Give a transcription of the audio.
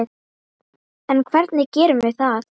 En hvernig gerum við það?